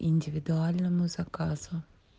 индивидуальному заказу